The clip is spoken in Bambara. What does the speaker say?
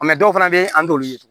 dɔw fana bɛ yen an t'olu ye